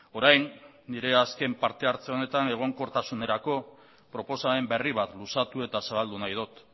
orain nire azken parte hartze honetan egonkortasunerako proposamen berri bat luzatu eta zabaldu nahi dut